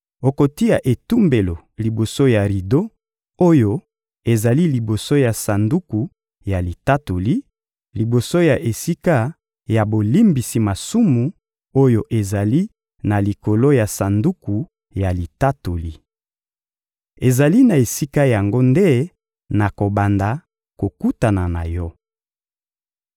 Okotia etumbelo liboso ya rido oyo ezali liboso ya Sanduku ya Litatoli, liboso ya esika ya bolimbisi masumu oyo ezali na likolo ya Sanduku ya Litatoli. Ezali na esika yango nde nakobanda kokutana na yo.